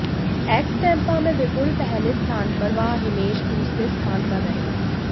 x टेंपा में विपुल पहले स्थान पर व हिमेश दूसरे स्थान पर रहे